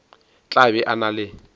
tla be a na le